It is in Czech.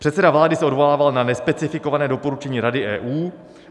Předseda vlády se odvolával na nespecifikované doporučení Rady EU.